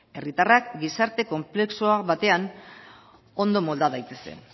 herritarrak gizarte konplexu batean ondo molda daitezen